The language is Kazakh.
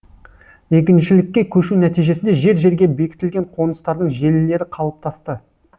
егіншілікке көшу нәтижесінде жер жерге бекітілген қоныстардың желілері қалыптасты